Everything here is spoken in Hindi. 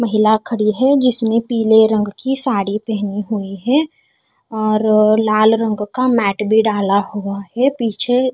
महिला खड़ी है जिसने पीले रंग की साड़ी पहनी हुई है और लाल रंग का मैट भी डाला हुआ है पीछे--